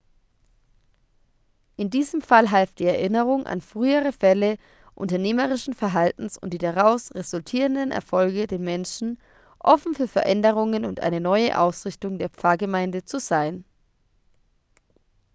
in diesem fall half die erinnerung an frühere fälle unternehmerischen verhaltens und die daraus resultierenden erfolge den menschen offen für veränderungen und eine neue ausrichtung der pfarrgemeinde zu sein